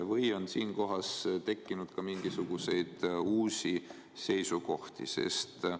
Või on siin tekkinud ka mingisuguseid uusi seisukohti?